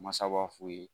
Masa b'a f'u ye